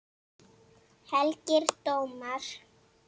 Helgir dómar